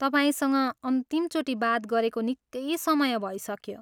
तपाईँसँग अन्तिमचोटि बात गरेको निकै समय भइसक्यो।